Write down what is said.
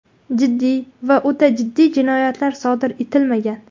Jiddiy va o‘ta jiddiy jinoyatlar sodir etilmagan.